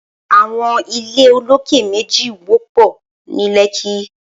Awọn ilé ólóké méji wọpọ ni Lekki